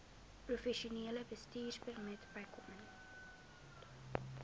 professionele bestuurpermit bykomend